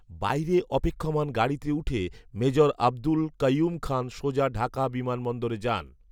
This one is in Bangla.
বাইরে অপেক্ষমান গাড়িতে উঠে মেজর আব্দুল কাইঊম খান সোজা ঢাকা বিমান বন্দরে যান